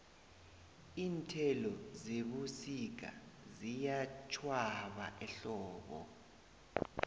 iinthelo zebusika ziyatjhwaba ehlobo